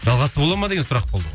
жалғасы бола ма деген сұрақ болды ғой